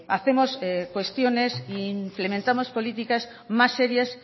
hacemos cuestiones e implementamos políticas más serias